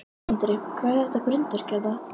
Andri: Hvað er með þetta grindverk hérna?